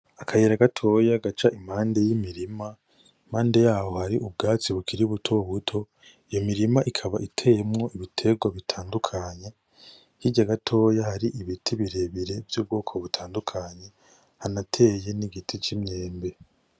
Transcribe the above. Akayira gatoya gaca impande y'imirima, impande yaho hari ubwatsi bukiri butobuto iyo mirima ikaba iteyemwo ibitegwa bitandukanye hirya gatoya hari ibiti birebire vy' ubwoko butandukanye hanateye n'igiti c'imyembe.